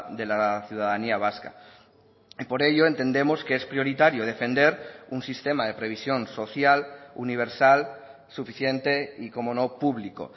de la ciudadanía vasca por ello entendemos que es prioritario defender un sistema de previsión social universal suficiente y cómo no público